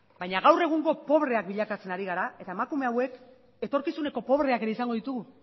baina gaur egungo pobreak bilakatzen ari gara eta emakume hauek etorkizuneko pobreak ere izango ditugu